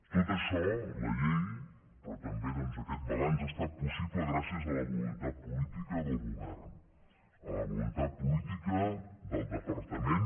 tot això la llei però també aquest balanç ha estat possible gràcies a la voluntat política del govern a la voluntat política del departament